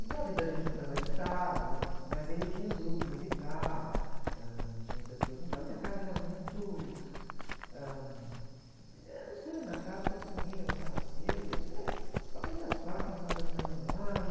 Então a vida da gente foi ficando mais estável, né? Mas ele tinha um grupo musical, ãh, tinham pessoas, então a minha casa era muito, ãh, eh, não sei, na casa parece que ninguém levantava cedo, não sei, ficávamos até às quatro, cinco horas da amanhã lá e...